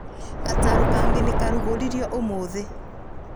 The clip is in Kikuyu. Gatarũ kangĩ nĩ karugũririo ũmũthi